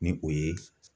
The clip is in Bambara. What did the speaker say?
Ni o ye